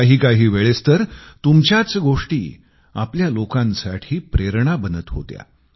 काहीकाही वेळेस तर तुमच्याच गोष्टी आपल्या लोकांसाठी प्रेरणा बनत होत्या